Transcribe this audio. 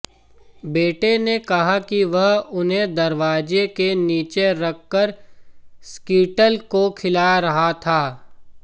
बेटे ने कहा कि वह उन्हें दरवाजे के नीचे रखकर स्कीटल को खिला रहा था